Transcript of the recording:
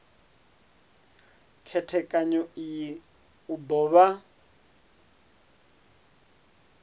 khethekanyo iyi u do vha